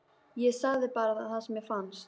Ég sagði bara það sem mér fannst.